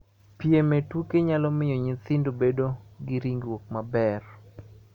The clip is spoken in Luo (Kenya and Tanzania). Piem e tuke nyalo miyo nyithindo bedo gi ringruok maber.